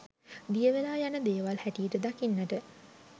දියවෙලා යන දේවල් හැටියට දකින්නට